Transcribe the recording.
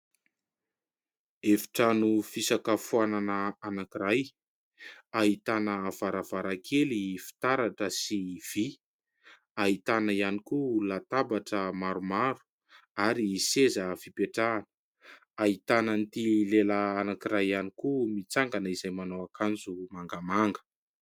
Efitrano fisakafoanana anankiray. Ahitana varavarankely fitaratra sy vy. Ahitana ihany koa latabatra maromaro ary seza fipetrahana. Ahitana an'ity lehilahy anankiray ihany koa mitsangana izay manao akanjo mangamanga.